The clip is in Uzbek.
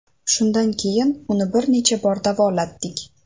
Shundan keyin uni bir necha bor davolatdik.